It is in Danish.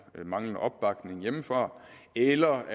manglende opbakning hjemmefra eller